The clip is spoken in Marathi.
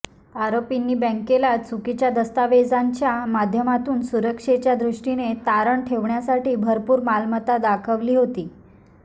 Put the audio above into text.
आरोपींनी बँकेला चुकीच्या दस्तावेजांच्या माध्यमातून सुरक्षेच्या दृष्टीनं तारण ठेवण्यासाठी भरपूर मालमत्ता दाखवली होती